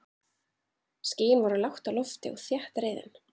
Skýin voru lágt á lofti og þéttriðin.